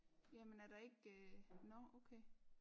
Jamen er der ikke øh nåh okay